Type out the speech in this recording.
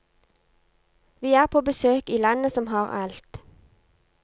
Vi er på besøk i landet som har alt.